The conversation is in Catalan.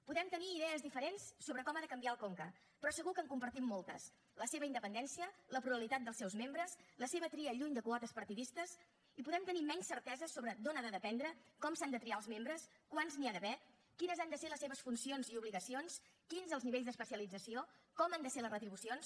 podem tenir idees diferents sobre com ha de canviar el conca però segur que en compartim moltes la seva independència la pluralitat dels seus membres la seva tria lluny de quotes partidistes i podem tenir menys certeses sobre d’on ha de dependre com s’han de triar els membres quants n’hi ha d’haver quines han de ser les seves funcions i obligacions quins els nivells d’especialització com han de ser les retribucions